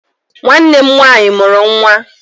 Nwanne m nwaanyị mụrụ nwa.